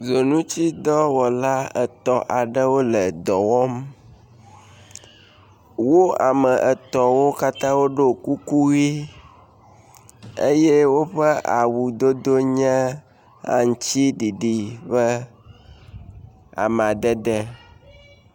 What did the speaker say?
ʋunutsi dɔwɔla etɔ̃ aɖewo le dɔwɔm wó ame etɔ̃wó katã ɖó kuku yi eye wóƒe awu dodo nye aŋtsi ɖiɖi ƒe amadede